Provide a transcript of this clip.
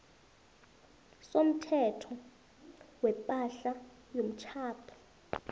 somthetho wepahla yomtjhado